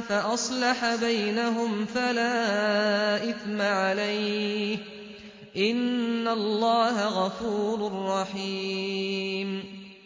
فَأَصْلَحَ بَيْنَهُمْ فَلَا إِثْمَ عَلَيْهِ ۚ إِنَّ اللَّهَ غَفُورٌ رَّحِيمٌ